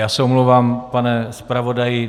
Já se omlouvám, pane zpravodaji.